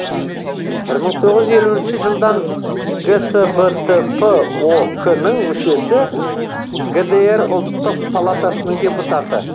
бір мың тоғыз жүз елуінші жылдан гсбтп ок нің мүшесі гдр ұлттық палатасының депутаты